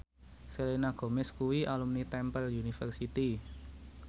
Selena Gomez kuwi alumni Temple University